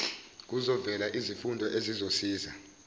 kuzovela izifundo ezizosiza